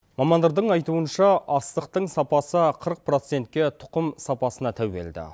мамандардың айтуынша астықтың сапасы қырық процентке тұқым сапасына тәуелді